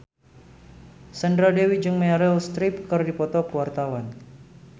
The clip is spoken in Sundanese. Sandra Dewi jeung Meryl Streep keur dipoto ku wartawan